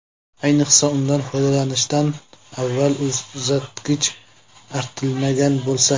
Ayniqsa, undan foydalanishdan avval uzatgich artilmagan bo‘lsa.